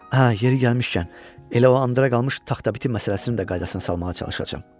Hə, yeri gəlmişkən, elə o indiyə qalan taxta biti məsələsinin də qaydasına salmağa çalışacam.